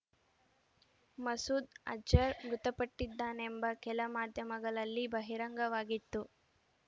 ಮಸೂದ್ ಅಜರ್ ಮೃತಪಟ್ಟಿದ್ದಾನೆಂಬ ಕೆಲ ಮಾಧ್ಯಮಗಳಲ್ಲಿ ಬಹಿರಂಗವಾಗಿತ್ತು